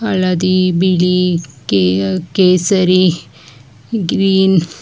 ಹಳದಿ ಬಿಳಿ ಕೇ ಕೇಸರಿ ಗ್ರೀನ್ .